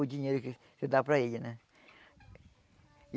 O dinheiro que que dá para ele, né?